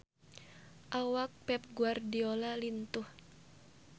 Awak Pep Guardiola lintuh